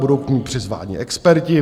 Budou k ní přizváni experti.